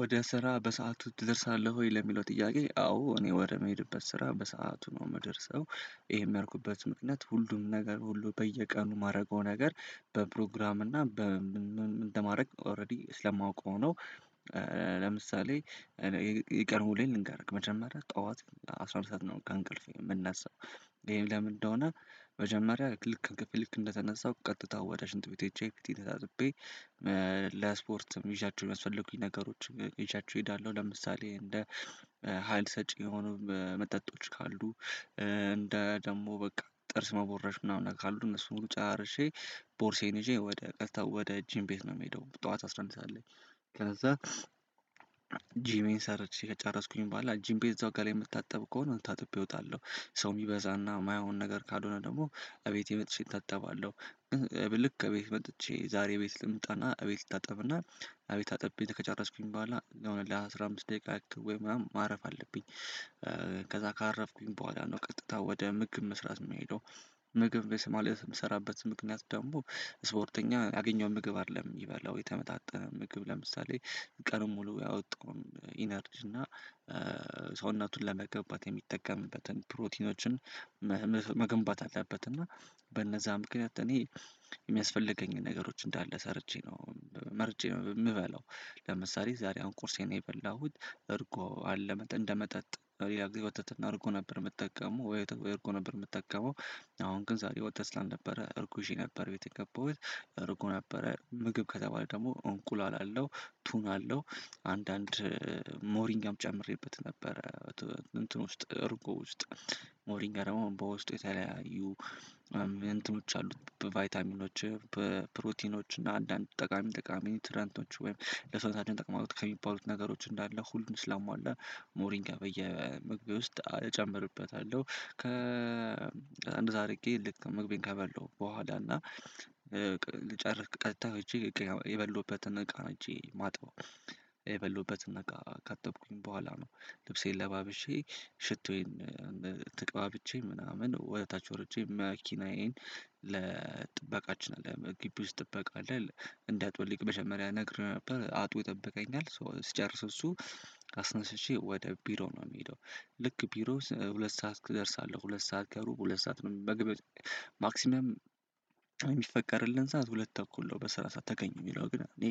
ወደ ስራ በሰአቱ ትደርሳለህ ወይ ለሚለው ጥያቄ? አዎ እኔ ወደምሄድበት ስራ በሰአቱ ነው የምደርሰው። ይሄም ያልኩበት ምክንያት ሁሉም ነገር ሁሉ በየቀኑ የማደርገው ነገር በፕሮግራም እና በም እንደማደርግ ኦልሬዲ ስለማውቀው ነው። ለምሳሌ የቀን ውሎዬን ልንገርክ መጀመሪያ ጠዋት አስራ ሁለት ሰዓት ነው ከእንቅልፌ የምነሳው። ይሄም ለምን እንደሆነ መጀመሪያ ልክ ከክፍል ልክ እንደተነሳው ቀጥታ ወደ ሽንጥ ቤት ሄጄ ፊቴን ተጣጥቤ። ለስፖርት ይዣችሁ የሚያስፈልጉኝ ነገሮች ይዣቸው እሄዳለሁ። ለምሳሌ እንደ ሀይል ሰጪ የሆኑ መጠጦች ካሉ እንደ ደግሞ በቃ ጥርስ መቦረሽ ምናምን ካሉ እነሱን ሁሉ ጨራርሼ። ቦርሳዬን ይዤ ወደ ቀጥታ ወደ ጂም ቤት ነው የምሄደው ጠዋት አስራ አንድ ሰዓት ላይ። ከዛ ጂሜን ሰርቼ ከጨረስኩኝ በኋላ ጂም ቤት እዛው ገላዬን የምታጠብ ከሆነ ታጥቤ ወጣለሁ። ሰው የሚበዛና የማይሆን ነገር ካልሆነ ደግሞ እቤቴ መጥቼ እታጥባለሁ። ልክ ቤት መጥቼ ዛሬ ቤት ልምጣና ቤት ልታጠብና እቤት ታጥቤ ከጨረስኩኝ በኋላ የ ሆነ ለአሥራ አምስት ደቂቃ ያክ ወይም ምናምን ማረፍ አለብኝ። ከዛ ካረፍኩኝ በኋላ ነው ቀጥታ ወደ ምግብ መስራት የምሄደው። ምግብ ቤት ምሰራበት ምክንያት ደግሞ ስፖርተኛ ያገኘውን ምግብ አይደለም የሚበላው የተመጣጠነ ምግብ ለምሳሌ። ቀኑን ሙሉ ያወጣውን ኢነርጂ እና ሰውነቱን ለመገንባት የሚጠቀምበትን ፕሮቲኖችን። መገንባት አለበት እና በነዛ ምክንያት እኔ የሚያስፈልገኝን ነገሮች እንዳለ ሰርቼ ነው መርጬ ነው የምበላው። ለምሳሌ ዛሬ አሁን ቁርሴን የበላሁት እርጎ አለመጥ እንደመጠጥ ሌላ ጊዜ ወተትና እርጎ ነበር የምጠቀመው ወይወ ወይ እርጎ ነበር የምጠቀመው። አሁን ግን ዛሬ ወተት ስላልነበረ እርጎ ይዤ ነበር ቤት የገባሁት እርጎ ነበረ ምግብ ከተባለ ደግሞ እንቁላል አለው። ቱን አለው አንዳንድ ሞሪንጋም ጨምሬበት ነበረ። እንትን ውስጥ እርጎ ውስጥ ሞሪንጋ ደግሞ በውስጡ የተለያዩ እንትኖች አሉት በቫይታሚኖች በፕሮቲኖች እና አንዳንድ ጠቃሚ ጠቃሚ ኒውትረንቶች ወይም ለሰውነታችን ይጠቅማሉት ከሚባሉት ነገሮች እንዳለ ሁሉን ስላሟላ ሞሪንጋ በየምግቤ ውስጥ እጨምርበታለሁ። ከ እንደዛ አድርጌ ልክ ምግቤን ከበላሁ በኋላ እና ቅ ልጨርስ ቀጥታ ሄጄ የበላውበትን እቃ ነው ሄጄ ማጥበው። የበላውበትን እቃ ካጠብኩኝ በኋላ ነው። ልብሴን ለባብሼ ሽቶዬን ተቀባብቼ ምናምን ወደ ታች ወርጄ መኪናዬን ለጥበቃችን አለ ግቢ ውስጥ ጥበቃ አለ። እንዲ አጥብልኝ መጀመሪያ ነሬው ነበር አጥቦ ይጠብቀኛል ሶ ሲጨርስ እሱ አስነስቼ ወደ ቢሮ ነው የምሄደው። ልክ ቢሮ ሁለት ሰዓት እደርሳለሁ ሁለት ሰዓት ከሩብ ሁለት ሰዓት መግቢያ ማክሲመም። የሚፈቀድልን ሰዓት ሁለት ተኩል ነው በስራ ሰዓት ተገኝ የሚለው ግን እኔ